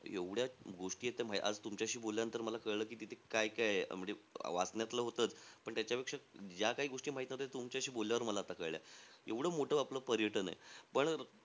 एवढ्या गोष्टीयेत त्या म्हणजे आता, तुमच्याशी बोलल्यानंतर मला कळलं की, तिथे काय-काय आहे. म्हणजे वाचण्यातलं होतंचं. पण त्याच्यापेक्षा ज्या काही गोष्टी माहित नव्हत्या, त्या तुमच्याशी बोलल्यावर मला आत्ता कळल्या. एव्हडं मोठं आपलं पर्यटन आहे.